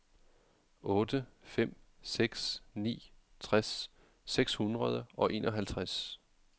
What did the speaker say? otte fem seks ni tres seks hundrede og enoghalvtreds